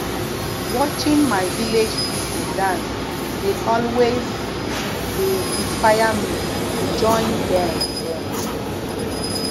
watching my village people dance dey always dey inspire me to join dem dem